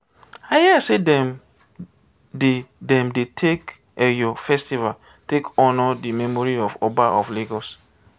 i hear sey dem dey dem dey take eyo festival take honour di memory of oba of lagos.